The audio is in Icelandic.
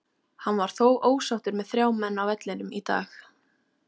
Hann var þó ósáttur með þrjá menn á vellinum í dag.